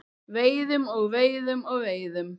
Veiðum og veiðum og veiðum.